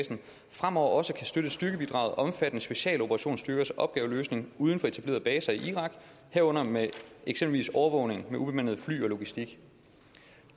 fremover også kan støtte styrkebidraget omfattende specialoperationsstyrkers opgaveløsning uden for etablerede baser i irak herunder med eksempelvis overvågning med ubemandede fly og logistik